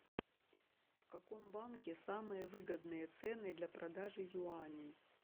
в каком банке самые выгодные цены для продажи юаней